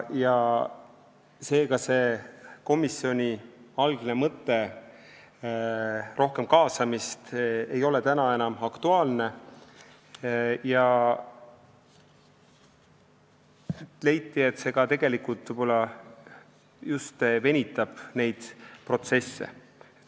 Seega ei ole komisjoni algne mõte, et olgu rohkem kaasamist, enam aktuaalne ja leiti, et see tegelikult võib-olla just venitab neid protsesse.